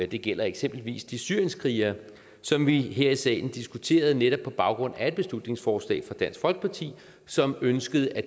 det gælder eksempelvis de syrienskrigere som vi her i salen diskuterede netop på baggrund af et beslutningsforslag fra dansk folkeparti som ønskede at